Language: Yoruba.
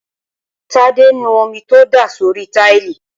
tádé nu omi tó dà sórí táìlì